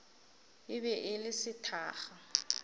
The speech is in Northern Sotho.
e be e le sethakga